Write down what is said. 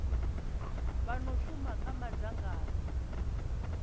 vha no shuma kha madzangano